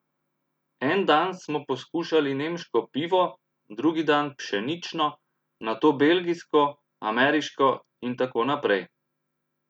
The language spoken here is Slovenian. En dan smo poskušali nemško pivo, drugi dan pšenično, nato belgijsko, ameriško in tako naprej.